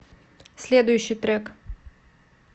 следующий трек